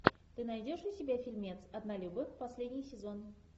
ты найдешь у себя фильмец однолюбы последний сезон